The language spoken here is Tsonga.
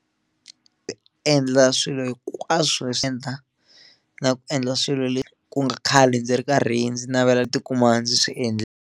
Endla swilo hinkwaswo leswi swi endla na ku endla swilo leswi ku nga khale ndzi ri karhi ndzi navela ndzi tikuma ndzi swi .